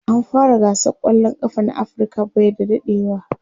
an fara gasar kwallan kafa na Africa by da dadewa